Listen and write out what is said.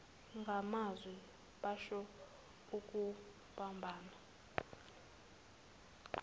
ngamazwi basho ukubambana